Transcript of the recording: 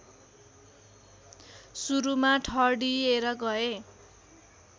सुरुमा ठडिएर गए